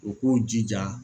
U k'u jija